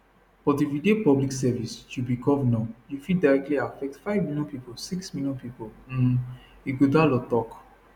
but if you dey public service you be govnor you fit directly affect five million pipo six million pipo um ighodalo tok